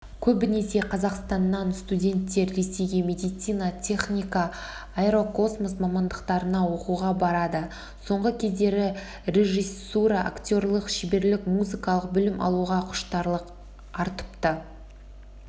көбінесе қазақстаннан студенттер ресейге медицина техника аэрокосмос мамандықтарына оқуға барады соңғы кездері режиссура актерлік шеберлік музыкалық білім алуға құштарлық артыпты